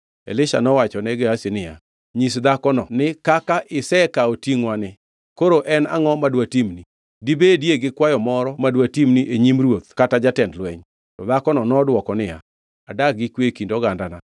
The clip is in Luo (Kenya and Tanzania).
Elisha nowachone Gehazi niya, “Nyis dhakono ni, ‘Kaka isekawo tingʼwani, koro en angʼo ma dwatimni? Dibedie gi kwayo moro ma dwatimni e nyim ruoth kata jatend lweny?’ ” To dhakono nodwoko niya, “Adak gi kwe e kind ogandana.”